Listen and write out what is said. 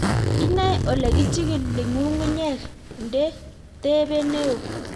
Inae ole kichigili ng'ung'unyek nde tebe neo